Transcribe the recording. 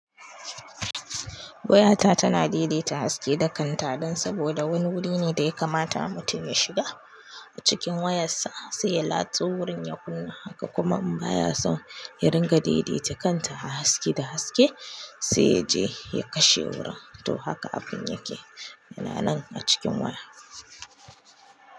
Wayata tana daidaita haske da kanta dan saboda wani wuri ne da ya kamata mutum ya shiga. Cikin wayassa sai ya latso wurin ya kunna haka kuma in baya son ya ringa daidaita kanta a haske da haske sai yaje ya kashe wurin. To haka abin yake na nan a cikin waya.